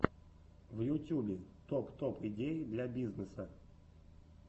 в ютюбе топ топ идеи для бизнеса